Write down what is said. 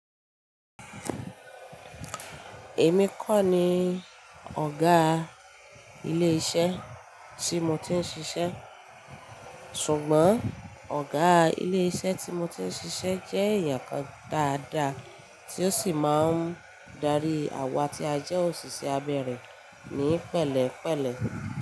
Èmi kọ́ ni ọ̀gá ilé iṣẹ́ tí mo ti ń ṣiṣẹ́, ṣùgbọ́n ọ̀gá ilé iṣẹ́ tí mo ti ń ṣiṣẹ́ jẹ́ èèyàn kan dáadáa tí ó sì máa ń darí àwa tí a jẹ́ òṣìṣẹ́ abẹ́ rẹ̀ ní pẹ̀lẹ́pẹ̀lẹ́.